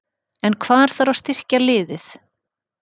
En hvar þarf að styrkja liðið?